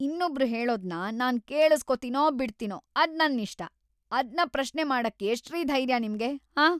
ಇನ್ನೊಬ್ರ್‌ ಹೇಳೋದ್ನ ನಾನ್‌ ಕೇಳುಸ್ಕೊತೀನೋ ಬಿಡ್ತೀನೋ ಅದ್‌ ನನ್ನಿಷ್ಟ, ಅದ್ನ ಪ್ರಶ್ನೆ ಮಾಡಕ್ಕೆ ಎಷ್ಟ್‌ರೀ ಧೈರ್ಯ ನಿಮ್ಗೆ, ಆಂ?